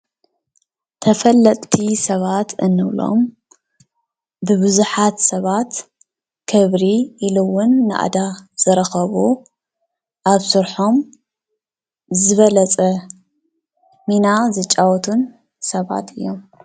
ተፈለጥቲ ሰባት እንብሎም ብቡዙሓት ሰባት ክብሪ ኢሉ እዉን ናእዳ ዝረከቡ ኣብ ስርሖም ዝበለፀ ሚና ዝጫወቱን ሰባት እዮም።